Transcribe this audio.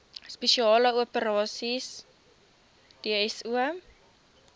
spesiale operasies dso